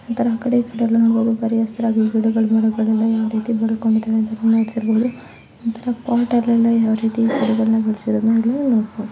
ಆಕಡೆ ಈಕಡೆ ಎಲ್ಲ ನೋಡಬಹುದು ಬರಿ ಹಸಿರು ರಾಗಿ ಗಿಡಗಳು ಮರಗಳು ಯಾವ ರೀತಿ ಬೆಳ್ಕೊಂತಿವೆ ನೇಚರ್ ಅಲ್ಲಿ ಪಾಟ್ ಅಲ್ಲಿ ಎಲ್ಲ ಯಾವ ರೀತಿ ಗಿಡಗಳನ್ನ ಬೆಳ್ಸಿರೋದು ಇಲ್ಲಿನೋಡಬಹುದು.